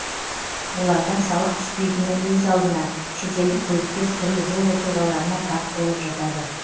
олардан салық түспейтіні өз алдына шетелдік көліктер түрлі жол оқиғаларына тап болып жатады